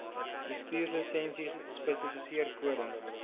bestuurslisensie spesifiseer kode